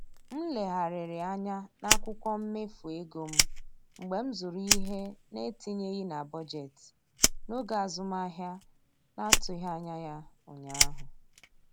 M legharịrị anya n'akwụkwọ mmefu ego m mgbe m zụrụ ihe na-etinyeghị na bọjetị n'oge azụmahịa na-atụghị anya ya ụnyaahụ